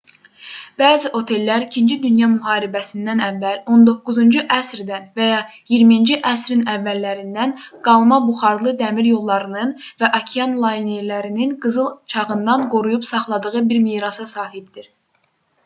bəzi otellər ii dünya müharibəsindən əvvəl 19-cu əsrdən və ya 20-ci əsrin əvvəllərindən qalma buxarlı dəmiryollarının və okean laynerlərinin qızıl çağından qoruyub saxladığı bir mirasa sahibdir